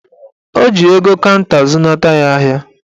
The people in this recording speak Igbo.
Ọ ji ego kanta zụnata ya ahịa